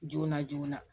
Joona joonana